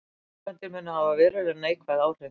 Framkvæmdir muni hafa verulega neikvæð áhrif